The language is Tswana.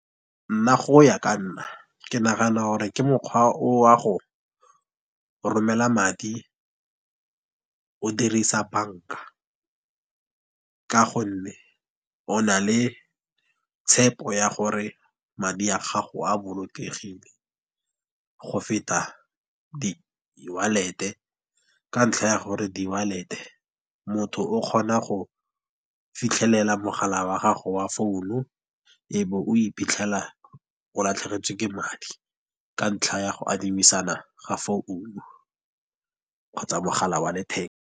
Nna go ya ka nna ke nagana gore, ke mokgwa o wa go romela madi o dirisa banka. Ka gonne o na le tshepo ya gore madi a gago a bolokegile, go feta di-wallet-e ka ntlha ya gore di-wallet-e motho o kgona go fitlhelela mogala wa gago wa founu. E be o iphitlhela o latlhegetswe ke madi ka ntlha ya go adimisanang ga founu kgotsa mogala wa letheka.